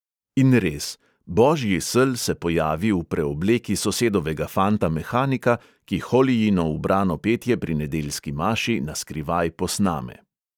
In res, božji sel se pojavi v preobleki sosedovega fanta mehanika, ki holijino ubrano petje pri nedeljski maši naskrivaj posname.